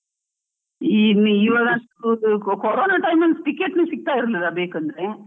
ಇನ್ ಈವಾಗ ಕೊ ಕೊ~ ಕೊರೊನ time ಅಲ್ಲಿ ticket ಸಿಗ್ತಾ ಇರ್ಲಿಲ್ಲ, ಬೆಂಕಂದ್ರೆ.